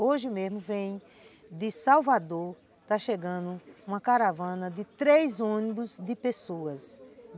Hoje mesmo vem de Salvador, está chegando uma caravana de três ônibus de pessoas.